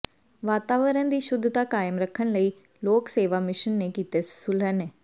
ਵਾਤਾਵਰਨ ਦੀ ਸ਼ੁੱਧਤਾ ਕਾਇਮ ਰੱਖਣ ਲਈ ਲੋਕ ਸੇਵਾ ਮਿਸ਼ਨ ਨੇ ਕੀਤੇ ਸੁਹਲਣੇ